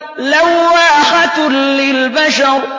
لَوَّاحَةٌ لِّلْبَشَرِ